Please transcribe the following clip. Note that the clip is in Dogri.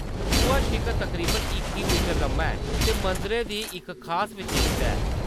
सूहा शिखर तकरीबन इक्की मीटर लम्मा ऐ ते मंदरै दी इक खास विशेशता ऐ।